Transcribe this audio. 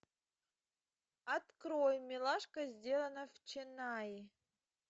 открой милашка сделано в ченнаи